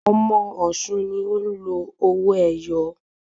Ọmọ ọ̀ṣun ni o ń lò owó ẹyọ